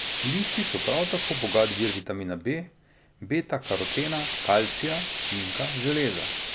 Listi so prav tako bogat vir vitamina B, beta karotena, kalcija, cinka, železa...